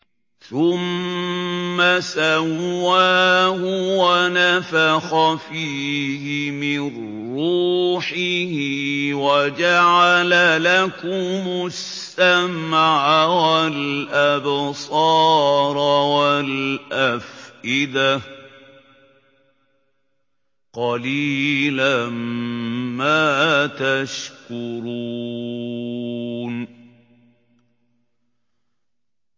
ثُمَّ سَوَّاهُ وَنَفَخَ فِيهِ مِن رُّوحِهِ ۖ وَجَعَلَ لَكُمُ السَّمْعَ وَالْأَبْصَارَ وَالْأَفْئِدَةَ ۚ قَلِيلًا مَّا تَشْكُرُونَ